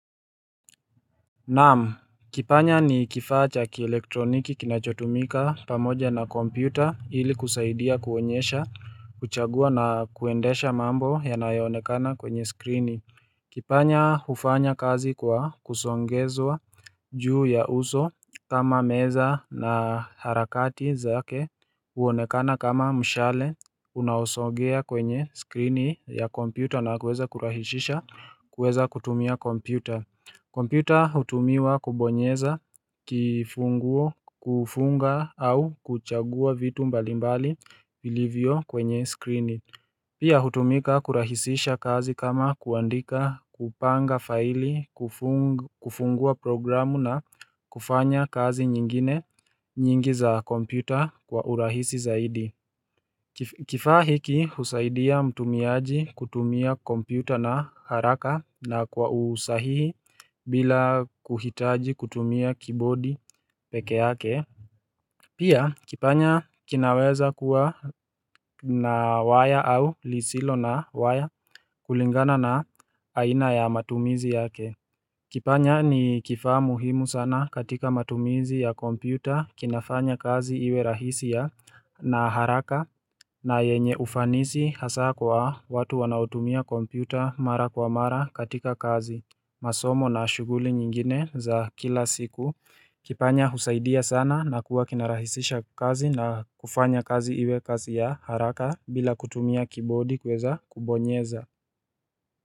Na'am, kipanya ni kifaa cha kielektroniki kinachotumika pamoja na kompyuta ili kusaidia kuonyesha, kuchagua na kuendesha mambo yanayoonekana kwenye skrini Kipanya hufanya kazi kwa kusongezwa juu ya uso kama meza na harakati zake huonekana kama mshale Unaosogea kwenye skrini ya kompyuta na kuweza kurahishisha kuweza kutumia kompyuta kompyuta hutumiwa kubonyeza kifunguo kufunga au kuchagua vitu mbalimbali vilivyo kwenye skrini. Pia hutumika kurahisisha kazi kama kuandika, kupanga faili kufungua programu na kufanya kazi nyingine nyingi za komputa kwa urahisi zaidi. Kifaa hiki husaidia mtumiaji kutumia kompyuta na haraka na kwa usahihi bila kuhitaji kutumia kibodi peke yake Pia kipanya kinaweza kuwa na waya au lisilo na waya kulingana na aina ya matumizi yake Kipanya ni kifaa muhimu sana katika matumizi ya kompyuta kinafanya kazi iwe rahisi ya na haraka na yenye ufanisi hasa kwa watu wanaotumia kompyuta mara kwa mara katika kazi, masomo na shughuli nyingine za kila siku. Kipanya husaidia sana na kuwa kinarahisisha kazi na kufanya kazi iwe kazi ya haraka bila kutumia kibodi kuweza kubonyeza.